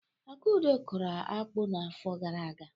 Akudo kụrụ akpu n'afọ gara aga.